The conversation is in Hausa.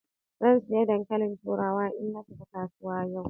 Zan sayi dankalin turawa in na tafi kasuwa yau.